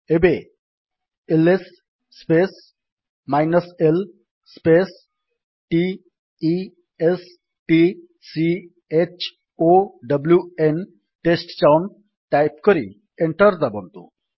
ଏବେ L S space l space t e s t c h o w N type କରି enter ଦାବନ୍ତୁ